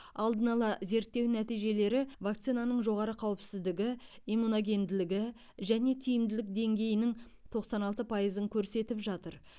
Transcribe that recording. алдын ала зерттеу нәтижелері вакцинаның жоғары қауіпсіздігі иммуногенділігі және тиімділік деңгейінің тоқсан алты пайызын көрсетіп жатыр